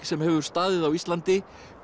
sem hefur staðið á Íslandi